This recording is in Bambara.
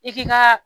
I k'i ka